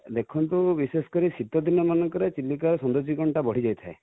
ଦେଖନ୍ତୁ ବିଶେଷ କରି ଶୀତ ଦିନ ମାନଙ୍କରେ ଚିଲିକା ର ସୌଦର୍ଯ୍ୟ କରଣ ଟା ବଢି ଯାଇ ଥାଏ